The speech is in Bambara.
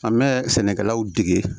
An bɛ sɛnɛkɛlaw dege